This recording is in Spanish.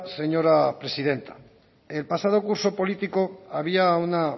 señora presidenta el pasado curso político había una